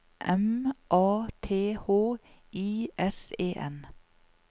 M A T H I S E N